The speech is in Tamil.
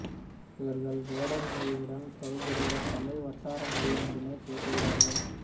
இவர்கள் வேடர் மொழியுடன் தொடர்புடைய தமிழ் வட்டார மொழி ஒன்றினைப் பேசுகிறார்கள்